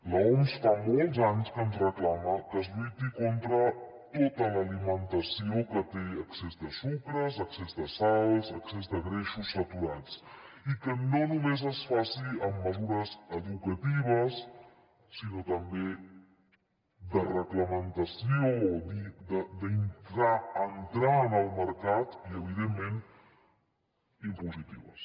l’oms fa molts anys que ens reclama que es lluiti contra tota l’alimentació que té excés de sucres excés de sals excés de greixos saturats i que no només es faci amb mesures educatives sinó també de reglamentació d’entrar en el mercat i evidentment impositives